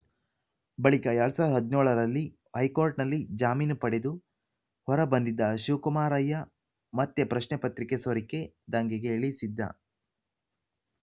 ಬಳಿಕ ಎರಡ್ ಸಾವಿರದ ಹದಿನೇಳು ರಲ್ಲಿ ಹೈಕೋಟ್‌ನಲ್ಲಿ ಜಾಮೀನು ಪಡೆದು ಹೊರ ಬಂದಿದ್ದ ಶಿವಕುಮಾರಯ್ಯ ಮತ್ತೆ ಪ್ರಶ್ನೆ ಪತ್ರಿಕೆ ಸೋರಿಕೆ ದಂಧೆಗೆ ಇಳಿಸಿದ್ದ